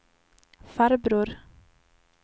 farbror